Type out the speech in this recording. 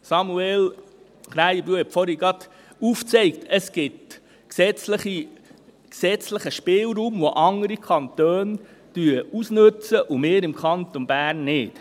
Samuel Krähenbühl hat vorhin gerade aufgezeigt, dass es gesetzlichen Spielraum gibt, den andere Kantone ausnutzen und wir im Kanton Bern nicht.